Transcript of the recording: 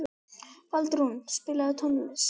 Baldrún, spilaðu tónlist.